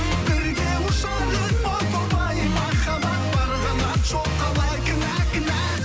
бірге ұшар ем о тоба ай махаббат бар қанат жоқ қалай кінә кінә